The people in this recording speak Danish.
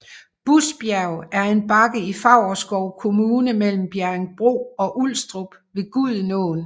Busbjerg er en bakke i Favrskov Kommune mellem Bjerringbro og Ulstrup ved Gudenåen